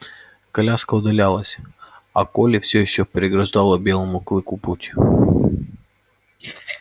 коляска удалялась а колли всё ещё преграждала белому клыку путь